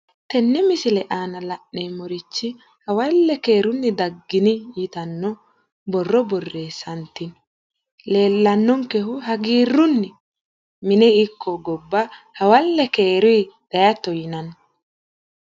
tenne misile aana la'neemmorichi hawalle keerunni daggini yitanno borro borreessantino leellanonkehu hagiirrunni mine ikko gobba hawalle keerunni dayiitto yininni.